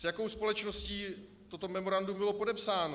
S jakou společností toto memorandum bylo podepsáno?